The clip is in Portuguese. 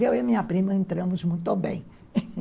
Eu e minha prima entramos muito bem